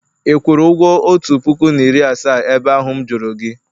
ị kwụrụ ụgwọ otu puku na iri asaa ebe ahụ m juru gi?